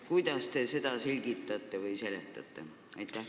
Kuidas te seda selgitate või seletate?